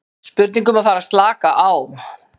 Spurning um að fara að slaka á?